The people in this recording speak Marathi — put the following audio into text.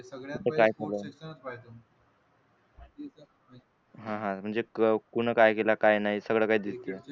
हा हा म्हणजे कोण काय केलं काय नाही सगळं काही दिसते.